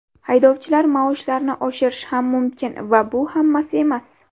Haydovchilar maoshlarini oshirishi ham mumkin va bu hammasi emas.